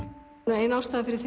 ein ástæðan fyrir